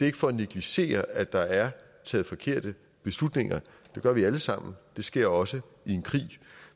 ikke for at negligere at der er taget forkerte beslutninger det gør vi alle sammen det sker også i en krig